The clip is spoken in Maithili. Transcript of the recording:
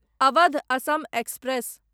अवध असम एक्सप्रेस